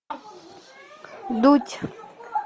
дудь